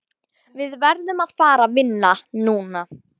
Við verðum að fara vinna núna.